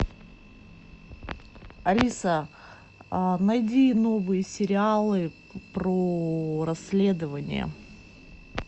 алиса найди новые сериалы про расследования